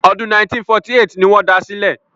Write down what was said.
Ọdún 1948 ni wọ́n da sílẹ̀.